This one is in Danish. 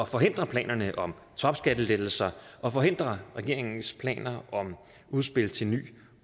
forhindre planerne om topskattelettelser og forhindre regeringens planer om udspil til en ny